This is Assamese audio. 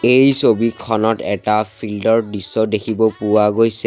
এই ছবিখনত এটা ফিল্ড ৰ দৃশ্য দেখিব পোৱা গৈছে।